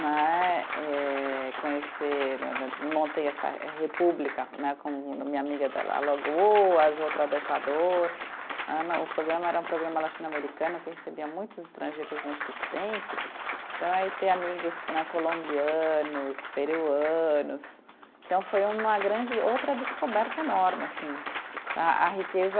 Né eh, conhecer, montei essa república né, com minha amiga da Alagoas, outra do Equador, eh né, o programa era um programa latino-americano que recebia muitos estrangeiros nesses tempos, então aí ter amigos né, colombianos, peruanos, então foi uma grande outra descoberta enorme, assim tá, a riqueza